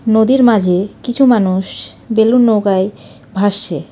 নদীর মাঝে কিছু মানুষ বেলুন নৌকায় ভাসছে.